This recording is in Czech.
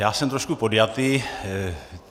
Já jsem trošku podjatý.